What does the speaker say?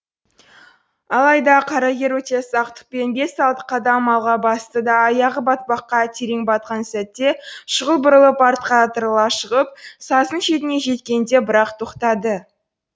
алайда қарагер өте сақтықпен бес алты қадам алға басты да аяғы батпаққа терең батқан сәтте шұғыл бұрылып артқа ытырыла шығып саздың шетіне жеткенде бірақ тоқтады